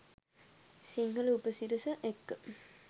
සිංහල උපසිරස එක්ක